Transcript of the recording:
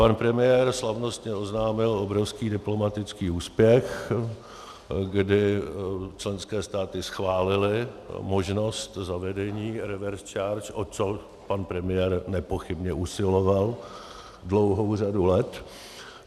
Pan premiér slavnostně oznámil obrovský diplomatický úspěch, kdy členské státy schválily možnost zavedení reverse charge, o což pan premiér nepochybně usiloval dlouhou řadu let.